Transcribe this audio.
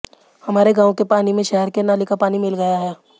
हमारे गांव के पानी में शहर के नाले का पानी मिल गया है